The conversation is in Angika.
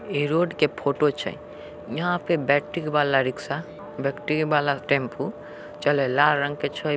ये रोड के फोटो छे यहाँ पर बैटरी वाला रिक्सा बैटरी वाला टेम्पु चले लाला रंग का छ--